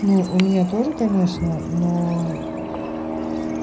ну у меня тоже конечно но